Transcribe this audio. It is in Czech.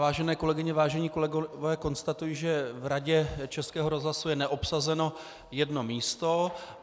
Vážené kolegyně, vážení kolegové, konstatuji, že v Radě českého rozhlasu je neobsazeno jedno místo.